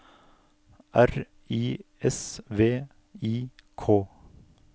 R I S V I K